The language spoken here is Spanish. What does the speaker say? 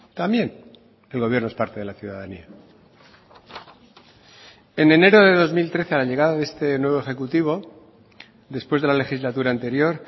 también el gobierno es parte de la ciudadanía en enero de dos mil trece a la llegada de este nuevo ejecutivo después de la legislatura anterior